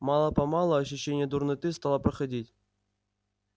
мало-помалу ощущение дурноты стало проходить